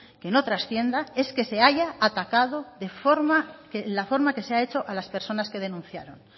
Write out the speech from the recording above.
que no trascienda es que se haya acatado la forma que se ha hecho a las personas que denunciaron